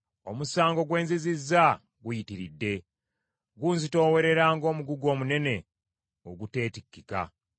Omusango gwe nzizizza guyitiridde, gunzitoowerera ng’omugugu omunene oguteetikkika.